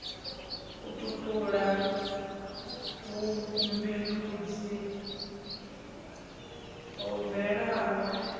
u tutula vhumbindudzi ho bvelaho